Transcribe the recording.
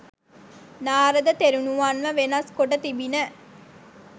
නාරද තෙරණුවන්ව වෙනස් කොට තිබිණ